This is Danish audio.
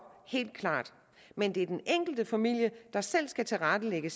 helt klart men det er den enkelte familie der selv skal tilrettelægge